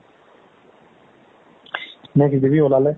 নে কি দিবি উলালে